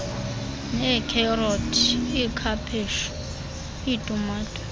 neekherothi ikhaphetshu itumato